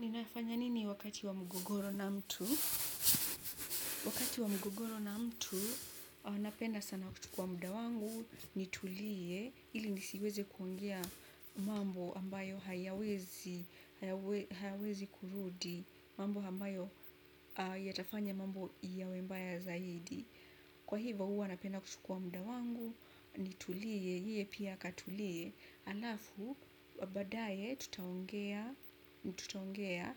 Ninafanya nini wakati wa mgugoro na mtu? Wakati wa mgugoro na mtu, napenda sana kuchukua muda wangu, nitulie, ili nisiweze kuongea mambo ambayo hayawezi hayawezi kurudi, mambo ambayo yatafanya mambo yawembaya zaidi. Kwa hivyo, huwa napenda kuchukua muda wangu, nitulie, yeye pia akatulie, alafu, baadaye tutaongea, tutaongea,